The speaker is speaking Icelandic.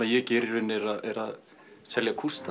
ég geri í rauninni er að selja kústa